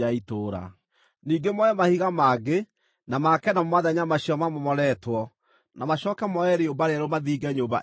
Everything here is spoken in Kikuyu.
Ningĩ moe mahiga mangĩ make namo mathenya macio mamomoretwo, na macooke moe rĩũmba rĩerũ mathinge nyũmba ĩyo narĩo.